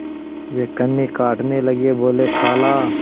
वे कन्नी काटने लगे बोलेखाला